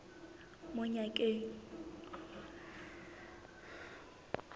monyakeng